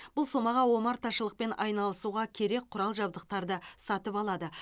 бұл сомаға омарташылықпен айналысуға керек құрал жабдықтарды сатып алады